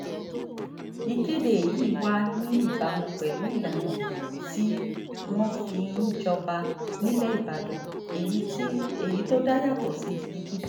ìkéde yìí wà ní ìbámu pẹ̀lú ìlànà tí wọ́n fi ń jọba nílẹ̀ ìbàdàn èyí tó dá yàtọ̀ sí tibikíbi